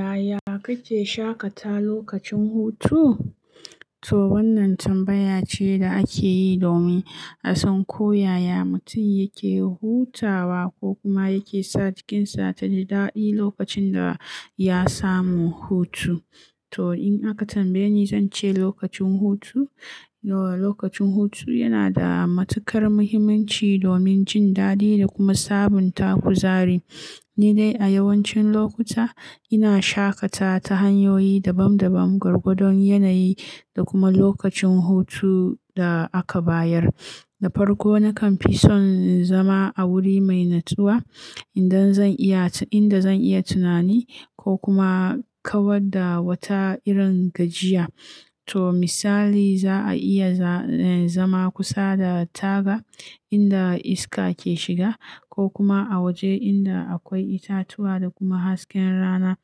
Yaya kake shaƙata lokacin hutu? To wannan tambaya ce da ake yi domin a san ko yaya mutum yake hutawa ko kuma yake sa jikinsa ta ji daɗi lokacin da ya samu hutu. To in aka tambaye ni, zan ce lokacin hutu, eh lokacin hutu yana da matuƙar muhimmanci domin jin daɗi da kuma sabunta kuzari. Ni dai a yawancin lokuta ina shaƙata ta hanyoyi dabam dabam, gwargwadon yanayi da kuma lokacin hutu da aka bayar. Da farko nakan fi son zama a wuri mai natsuwa indan zan iya, inda zan iya tunani ko kuma kawar da wata irin gajiya. To misali za a iya, eh zama kusa da taga inda iska ke shiga ko kuma a waje inda akwai itatuwa da kuma hasken rana.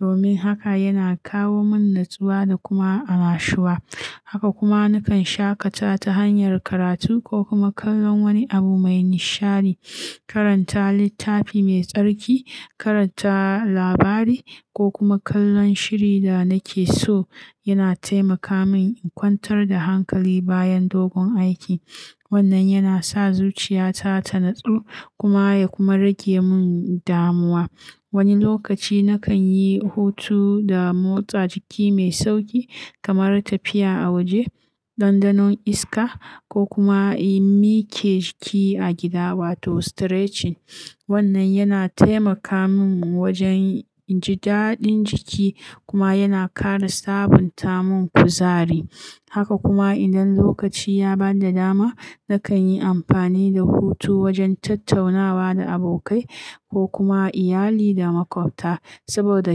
Domin haka yana kawo min natsuwa da kuma amashuwa. Haka kuma nakan shaƙata ta hanyar karatu ko kuma kallon wani abu mai nishadi. Karanta littafi mai tsarki, karanta labari ko kuma kallon shiri da nake so yana taimaka min in kwantar da hankali bayan dogon aiki. Wannan yana sa zuciya ta ta nutsu kuma ya kuma rage min damuwa. Wani lokaci nakan yi hutu da motsa jiki mai sauƙi kamar tafiya a waje, ɗanɗanon iska ko kuma in mike jiki a gida wato stretching. Wannan yana taimaka min wajen injin daɗin jiki kuma yana ƙara sabunta mun kuzari. Haka kuma idan lokaci ya ba da dama, nakan yi amfani da hutu wajen tattaunawa da abokai ko kuma iyali da maƙwabta. Saboda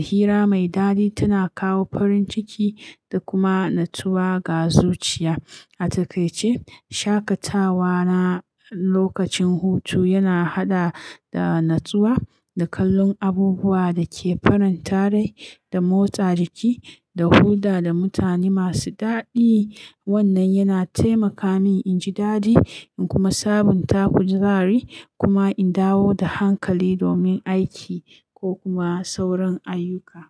hira mai daɗi tana kawo farin ciki da kuma natsuwa ga zuciya. A takaice, shaƙatawa na lokacin hutu yana haɗa da natsuwa, da kallon abubuwa da ke farin tare, da motsa jiki, da hulɗa da mutane masu daɗi. Wannan yana taimaka min in ji daɗi in kuma sabunta kuzari kuma in dawo da hankali domin aiki ko kuma sauran ayyuka.